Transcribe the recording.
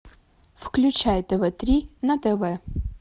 включай тв три на тв